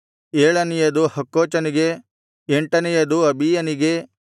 ಏಳನೆಯದು ಹಕ್ಕೋಚನಿಗೆ ಎಂಟನೆಯದು ಅಬೀಯನಿಗೆ